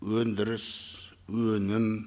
өндіріс өнім